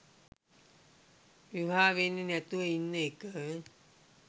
විවාහ වෙන්නේ නැතුව ඉන්න එක